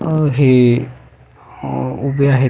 अ हे अ उभे आहेत.